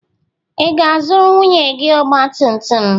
Ị ga-azụrụ nwunye gị ọgba tum tum?